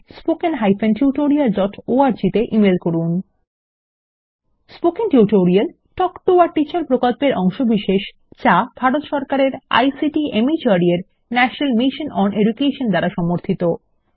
spoken tutorial talk to a teacher প্রকল্পের অংশবিশেষ যা ভারত সরকারের আইসিটি মাহর্দ এর ন্যাশনাল মিশন ওন এডুকেশন দ্বারা সমর্থিত